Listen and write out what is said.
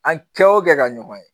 An kɛ o kɛ ka ɲɔgɔn ye